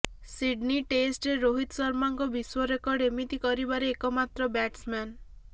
Sydney ଟେଷ୍ଟରେ ରୋହିତ ଶର୍ମାଙ୍କ ବିଶ୍ବ ରେକର୍ଡ ଏମିତି କରିବାରେ ଏକ ମାତ୍ର ବ୍ୟାଟସମ୍ୟାନ